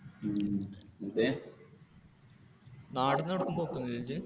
നാടിന്നു എവിടേം പോക്കൊന്നുമില്ലേ ഇജ്ജ്?